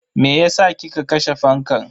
Meyasa kika kashe fankan?